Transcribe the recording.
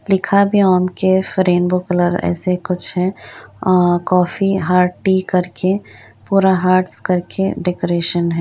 लिखा भी है ओम कैफ़ रेनबो कलर ऐसे कुछ है। आ कॉफ़ी हार्ट टी करके पूरा हर्ट्स करके डेकोरेशन है।